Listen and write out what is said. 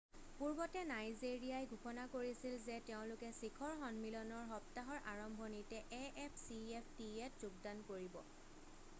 পূৰ্বতে নাইজেৰিয়াই ঘোষণা কৰিছিল যে তেওঁলোকে শিখৰ সন্মিলনৰ সপ্তাহৰ আৰম্ভণিতে afcftaত যোগদান কৰিব।